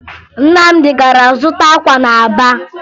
Nnamdị gara zụta akwa na Aba